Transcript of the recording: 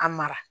A mara